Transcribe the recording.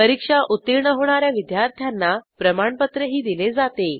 परीक्षा उत्तीर्ण होणा या विद्यार्थ्यांना प्रमाणपत्रही दिले जाते